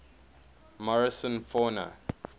morrison fauna